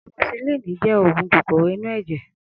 Amosisilin jẹ́ oògùn kòkòrò inú ẹ̀jẹ̀